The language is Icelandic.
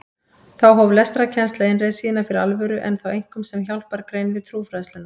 Þá hóf lestrarkennsla innreið sína fyrir alvöru en þá einkum sem hjálpargrein við trúfræðsluna.